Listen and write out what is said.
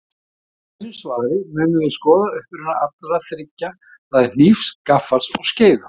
Í þessu svari munum við skoða uppruna allra þriggja, það er hnífs, gaffals og skeiðar.